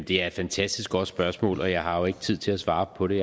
det er et fantastisk godt spørgsmål og jeg har jo ikke tid til at svare på det